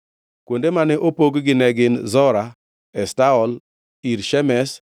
Kuonde mane opog-gi ne gin: Zora, Eshtaol, Ir Shemesh,